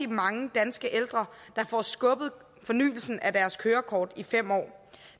mange danske ældre der får skubbet fornyelsen af deres kørekort i fem år